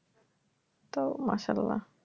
তো মাশাল্লা